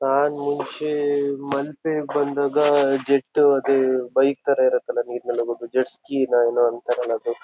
ನನ್ ಮುಂಚೆ ಮಲ್ಪೆಗ್ ಬಂದಾಗ ಜೆಟ್ಟು ಅದೇ ಬೈಕ್ ತರ ಇರತಲ್ಲ ನೀರ್ ನಾಲ್ ಹೋಗುದು ಜೆಡ್ಸ್ ಜಿ ನ ಏನೋ ಅಂತಾರಲ್ಲ ಅದು --